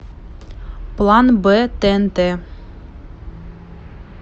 план б тнт